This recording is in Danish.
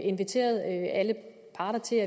inviteret alle parter til